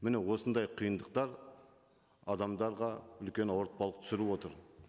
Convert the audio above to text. міне осындай қиындықтар адамдарға үлкен ауыртпалық түсіріп отыр